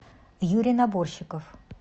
юрий наборщиков